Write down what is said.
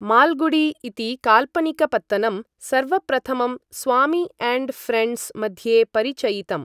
माल्गुडी इति काल्पनिकपत्तनं सर्वप्रथमं स्वामी अण्ड् फ्रेण्ड्स् मध्ये परिचयितम्।